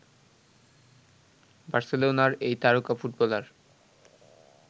বার্সেলোনার এই তারকা ফুটবলার